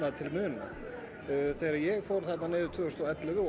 til muna þegar ég fór niður tvö þúsund og ellefu og